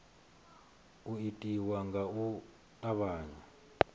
u itiwa nga u tavhanya